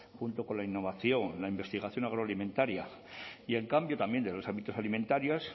junto con la innovación la investigación agroalimentaria y en cambio también de los hábitos alimentarios